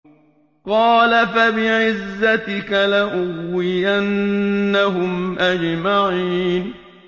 قَالَ فَبِعِزَّتِكَ لَأُغْوِيَنَّهُمْ أَجْمَعِينَ